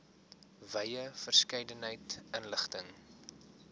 wye verskeidenheid inligting